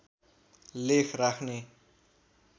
लेख राख्ने